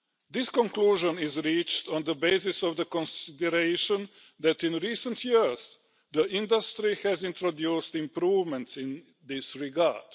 This conclusion is reached on the basis of the consideration that in recent years the industry has introduced improvements in this regard.